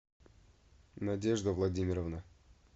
надежда владимировна